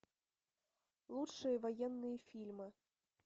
лучшие военные фильмы